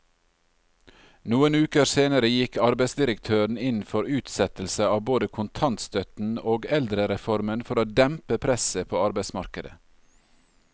Noen uker senere gikk arbeidsdirektøren inn for utsettelse av både kontantstøtten og eldrereformen for å dempe presset på arbeidsmarkedet.